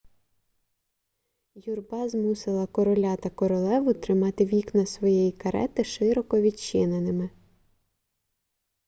юрба змусила короля та королеву тримати вікна своєї карети широко відчиненими